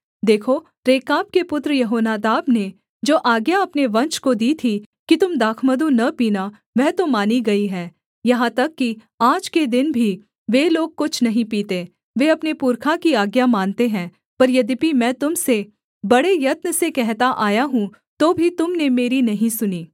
देखो रेकाब के पुत्र यहोनादाब ने जो आज्ञा अपने वंश को दी थी कि तुम दाखमधु न पीना वह तो मानी गई है यहाँ तक कि आज के दिन भी वे लोग कुछ नहीं पीते वे अपने पुरखा की आज्ञा मानते हैं पर यद्यपि मैं तुम से बड़े यत्न से कहता आया हूँ तो भी तुम ने मेरी नहीं सुनी